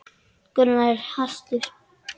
Gunnar var hastur.